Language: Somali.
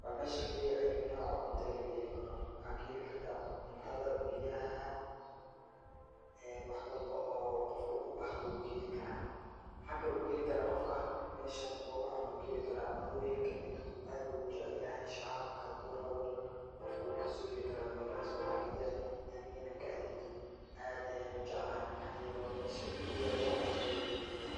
Waa meesha kaliya oo ayu nooc cunto laga heli karo, waxaa kaheli kartaa cuntada, biyaha, wax walbo oo qofka uu ubaahdo wuu kaheli karaa, waxaa kale uu kaheli karaa qofka meeshan cunooyinka kuwa uu aad ujeclahay, sharaabka haduu rabo, qofka wuu kasoo heli karaa meelaha[supermarket]aniga inaan ka adeegto aad ayaan ujeclahay, waxaa yeele waa meesha kaliya oo wax walbo laga heli karo,